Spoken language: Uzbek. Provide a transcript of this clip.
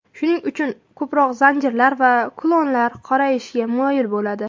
Shuning uchun ko‘proq zanjirlar va kulonlar qorayishga moyil bo‘ladi.